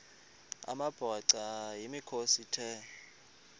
amabhaca yimikhosi the